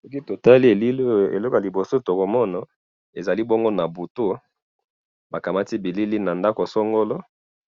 soki totali elili oyo eloko ya liboso, tokomona ezali bongo nabutu bakamati bilili na ndako songolo,